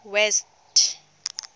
west